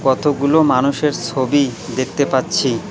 কতগুলো মানুষের ছবি দেখতে পাচ্ছি।